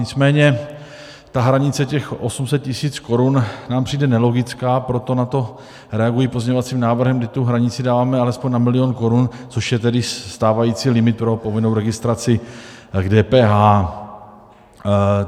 Nicméně ta hranice těch 800 tisíc korun nám přijde nelogická, proto na to reaguji pozměňovacím návrhem, kdy tu hranici dáváme alespoň na milion korun, což je tedy stávající limit pro povinnou registraci k DPH.